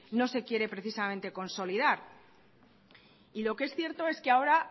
no se quiere precisamente consolidar y lo que es cierto es que ahora